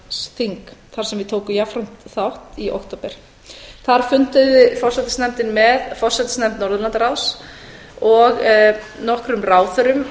norðurlandsþing þar sem við tókum jafnframt þátt í október þar fundaði forsætisnefndin með forsætisnefnd norðurlandaráðs og nokkrum ráðherrum